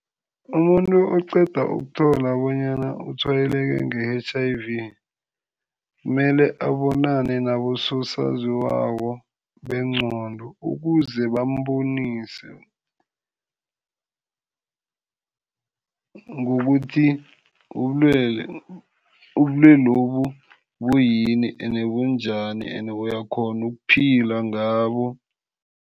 Umuntu oqeda ukuthola bonyana utshwayeleke nge-H_I_V, kumele abonane nabososaziwako bengqondo ukuze bamubonise, ngokuthi ubulwele lobu buyini ene bunjani ende uyakghona ukuphila ngabo.